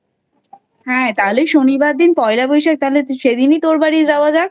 তাহলে শনিবার দিন পয়লা বৈশাখ সেদিনই তোর বাড়ি যাওয়া যাক।